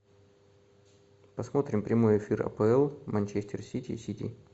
посмотрим прямой эфир апл манчестер сити и сити